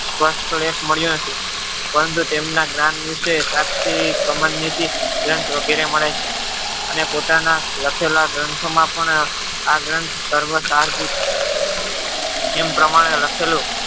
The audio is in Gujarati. મળ્યો નથી પરંતુ તેમના જ્ઞાન વિશે સાક્ષી કમરનીતિ ગ્રથ વગેરે મળે છે. અને પોતાના લખેલા ગ્રંથોમાં પણ આ ગ્રંથ સર્વંસહારભૂત છે. પ્રમાણે લખેલું